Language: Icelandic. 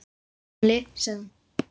Takk, gamli, sagði hún.